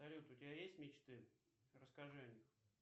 салют у тебя есть мечты расскажи о них